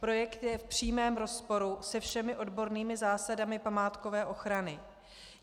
Projekt je v přímém rozporu se všemi odbornými zásadami památkové ochrany.